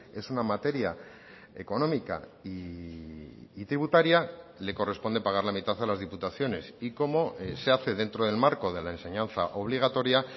es una materia económica y tributaria le corresponde pagar la mitad a las diputaciones y como se hace dentro del marco de la enseñanza obligatoria